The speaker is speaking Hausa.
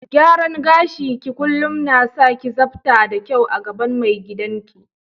Gyaran gashi ki kullum na sa ki sabta da kyau a gaban mai gidan ki.